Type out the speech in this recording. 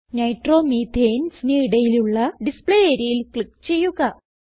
Nitromethanesന് ഇടയിലുള്ള ഡിസ്പ്ലേ areaയിൽ ക്ലിക്ക് ചെയ്യുക